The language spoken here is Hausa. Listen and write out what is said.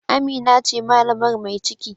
Amina ce malamar mai ciki